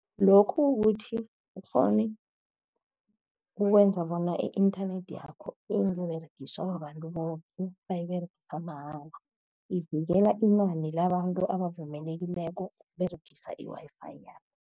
Lokhu kukuthi ukghone ukwenza bona i-inthanethi yakho ingaberegiswa babantu boke, bayiberegisa mahala. Ivikela inani labantu ebavumelekileko ukuberegisa, i-Wi-Fi yakho.